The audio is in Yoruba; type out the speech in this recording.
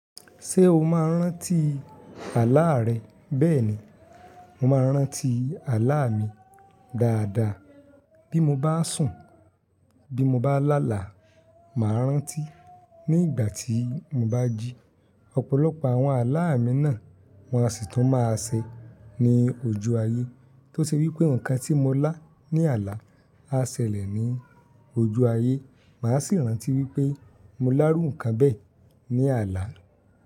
Ṣé o máa ń rántí àláà rẹ? Bẹ́ẹ̀ ni, mo máa ń rántí àláà mi dáadáa. Bí mo bá sùn, bí mo bá láàlá, màá rántí. Ní ìgbà tí mo bá jí, ọ̀pọ̀lọpọ̀ àwọn àláà mi náà wọ́n á sì tún máa ṣe ní ojú ayé. Tó ṣe wí pé nǹkan tí mo lá ní àlá á ṣẹlẹ̀ ní ojú ayé, màá sì rántí wí pé mo lárú nǹkan bẹ́ẹ̀ ní àlá.